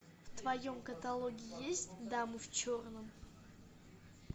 в твоем каталоге есть дама в черном